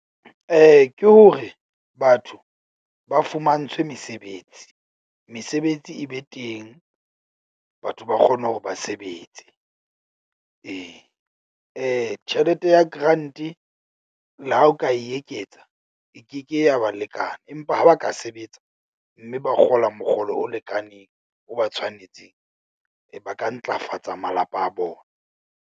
Ke hore batho ba fumantshwe mesebetsi, mesebetsi e be teng. Batho ba kgone hore ba sebetse ee, tjhelete ya grant-e le ha o ka e eketsa e keke ya ba lekana. Empa ha ba ka sebetsa mme ba kgola mokgolo o lekaneng, o ba tshwanetseng, e ba ka ntlafatsa malapa a bona.